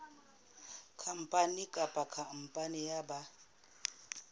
khampani kapa khampani ya ba